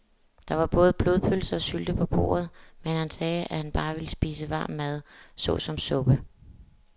Der var både blodpølse og sylte på bordet, men han sagde, at han bare ville spise varm mad såsom suppe.